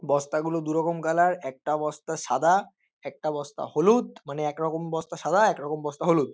''বস্তাগুলো দু''''রকম কালার । একটা বস্তা সাদা একটা বস্তা হলুদ মানে এক রকম বস্তা সাদা এক রকম বস্তা হলুদ।''